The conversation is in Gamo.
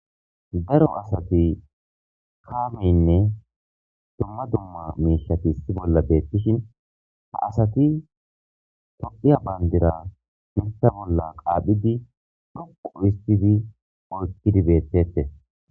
daro asati kaameynne dumma dumma miishati issi bolla beettishin ha asati toqiya bandira mita bolla qaaphidi ruqo istidi oykkidi beettette